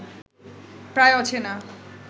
প্রায় অচেনা